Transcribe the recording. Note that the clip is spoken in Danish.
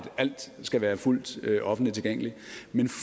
alt skal være fuldt offentligt tilgængeligt